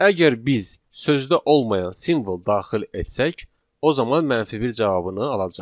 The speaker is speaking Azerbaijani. Əgər biz sözdə olmayan simvol daxil etsək, o zaman mənfi bir cavabını alacağıq.